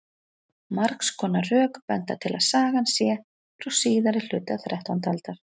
margs konar rök benda til að sagan sé frá síðari hluta þrettándu aldar